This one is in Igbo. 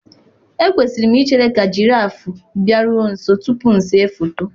Ekwesịrị m ichere ka jiraffụ bịaruo nso tupu m ese foto.